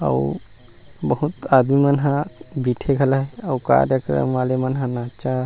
अउ बहुत आदमी मन है बैठे घला हे अउका कथे उ मन ह नचा।